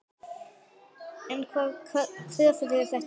En hvaða kröfur eru þetta?